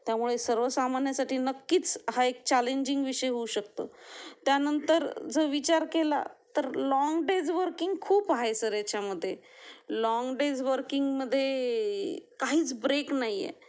त्यामुळे सर्वसामान्यांसाठी नक्कीच हा एक चॅलेंजिंग विषय होऊ शकतो. त्यानंतर जर विचार केला लॉंग डेज वर्किंग खूप आहे ह्याचामध्ये, लॉन्ग डेज वर्किंग मध्ये काहीच ब्रेक नाही